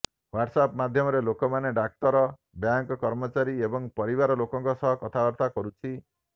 WhatsApp ମାଧ୍ୟମରେ ଲୋକମାନେ ଡାକ୍ତର ବ୍ୟାଙ୍କ କର୍ମଚାରୀ ଏବଂ ପରିବାର ଲୋକଙ୍କ ସହ କଥାବାର୍ତ୍ତା କରୁଛି